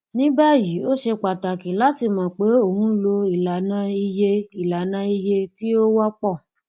ní báyìí ó ṣe pàtàkì láti mọ pé o ń lo ìlànà iye ìlànà iye tí ó wọpọ